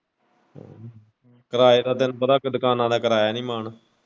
ਕਿਰਾਏ ਦਾ ਤੁਹਾਨੂੰ ਪਤਾ ਅੱਗੇ ਦੁਕਾਨਾਂ ਦਾ ਕਰਾਇਆ ਨੀ ਮਾਨ।